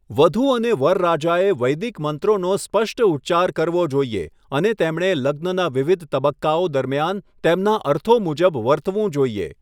વધૂ અને વરરાજાએ વૈદિક મંત્રોનો સ્પષ્ટ ઉચ્ચાર કરવો જોઈએ અને તેમણે લગ્નના વિવિધ તબક્કાઓ દરમિયાન તેમના અર્થો મુજબ વર્તવું જોઈએ.